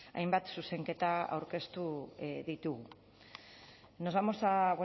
hainbat zuzenketa aurkeztu ditugu nos vamos a